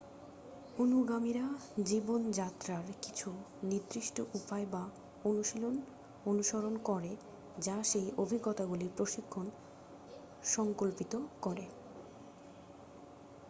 অনুগামীরা জীবনযাত্রার কিছু নির্দিষ্ট উপায় বা অনুশীলন অনুসরণ করে যা সেই অভিজ্ঞতাগুলির প্রশিক্ষণ সঙ্কল্পিত করে